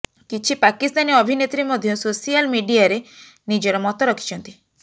କିଛି ପାକିସ୍ତାନୀ ଅଭିନେତ୍ରୀ ମଧ୍ୟ ସୋଶାଲ ମିଡିଆରେ ନିଜର ମତ ରଖିଛନ୍ତି